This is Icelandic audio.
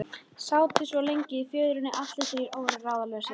Sátu svo lengi í fjörunni allir þrír og voru ráðalausir.